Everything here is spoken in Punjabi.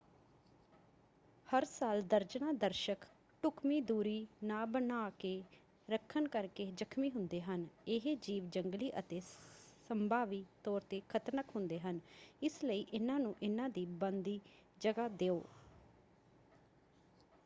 ਹਰ ਸਾਲ ਦਰਜਨਾਂ ਦਰਸ਼ਕ ਢੁੱਕਵੀਂ ਦੂਰੀ ਨਾ ਬਣਾ ਕੇ ਰੱਖਣ ਕਰਕੇ ਜ਼ਖਮੀ ਹੁੰਦੇ ਹਨ। ਇਹ ਜੀਵ ਜੰਗਲੀ ਅਤੇ ਸੰਭਾਵੀ ਤੌਰ 'ਤੇ ਖ਼ਤਰਨਾਕ ਹੁੰਦੇ ਹਨ ਇਸ ਲਈ ਇਹਨਾਂ ਨੂੰ ਇਹਨਾਂ ਦੀ ਬਣਦੀ ਜਗ੍ਹਾ ਦਿਓ।